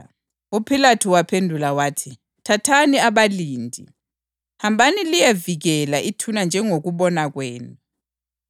UPhilathu waphendula wathi, “Thathani abalindi. Hambani liyevikela ithuna njengokubona kwenu.”